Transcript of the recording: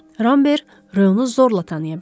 Ramber Röyonu zorla tanıya bildi.